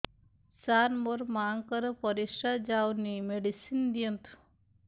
ସାର ମୋର ମାଆଙ୍କର ପରିସ୍ରା ଯାଉନି ମେଡିସିନ ଦିଅନ୍ତୁ